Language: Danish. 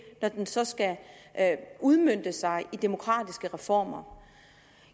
når den så skal udmønte sig i demokratiske reformer